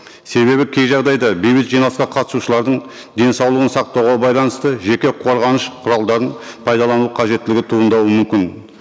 себебі кей жағдайда бейбіт жиналысқа қатысушылардың денсаулығын сақтауға байланысты жеке қорғаныш құралдарын пайдалану қажеттілігі туындауы мүмкін